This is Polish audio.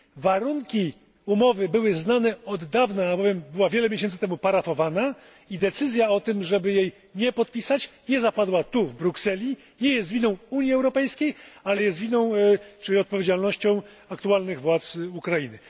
Warunki umowy były znane od dawna, albowiem była wiele miesięcy temu parafowana, i decyzja o tym, żeby jej nie podpisać nie zapadła tu, w Brukseli, nie jest to winą Unii Europejskiej, ale jest winą czy odpowiedzialnością aktualnych władz Ukrainy.